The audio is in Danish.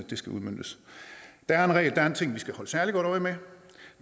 det skal udmøntes der er en ting vi skal holde særlig godt øje med